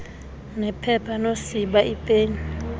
nephepha nosiba iipen